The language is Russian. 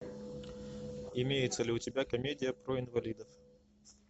имеется ли у тебя комедия про инвалидов